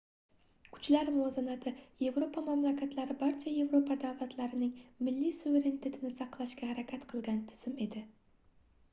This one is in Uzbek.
kuchlar muvozanati yevropa mamlakatlari barcha yevropa davlatlarining milliy suverenitetini saqlashga harakat qilgan tizim edi